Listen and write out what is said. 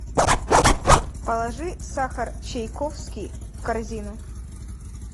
положи сахар чайкофский в корзину